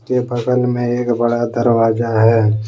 इसके बगल में एक दरवाजा है।